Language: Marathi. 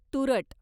तुरट